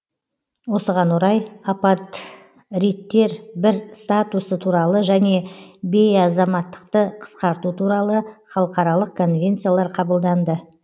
осыған орай апатридтер бір статусы туралы және бейазаматтықты қыскарту туралы халықаралық конвенциялар қабылданды